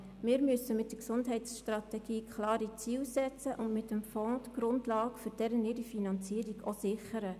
Wir müssen mit der Gesundheitsstrategie klare Ziele setzen und mit dem Fonds die Grundlagen für deren Finanzierung sichern.